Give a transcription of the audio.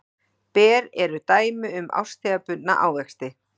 Ber eru dæmi um árstíðabundna ávexti.